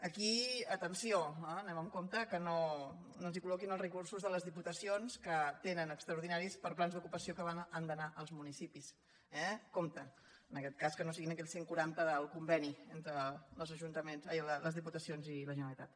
aquí atenció anem amb compte que no ens hi col·loquin els recursos de les diputacions que tenen extraordinaris per a plans d’ocupació que han d’anar als municipis eh compte en aquest cas que no siguin aquells cent quaranta del conveni entre les diputacions i la generalitat